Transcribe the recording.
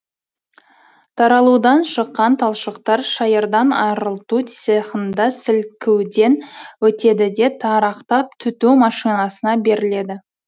таралудан шыққан талшықтар шайырдан арылту цехында сілкуден өтеді де тарақтап түту машинасына беріледі